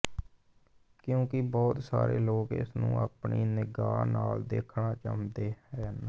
ਕਿਉਂਕਿ ਬਹੁਤ ਸਾਰੇ ਲੋਕ ਇਸਨੂੰ ਆਪਣੀ ਨਿਗਾਹ ਨਾਲ ਦੇਖਣਾ ਚਾਹੁੰਦੇ ਹਨ